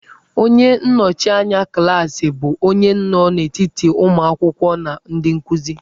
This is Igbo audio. Onye nnọchianya klaasị bụ onye nọ n'etiti ụmụ akwụkwọ na ndị nkuzi.